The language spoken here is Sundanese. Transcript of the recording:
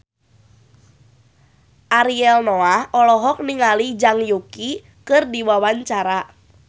Ariel Noah olohok ningali Zhang Yuqi keur diwawancara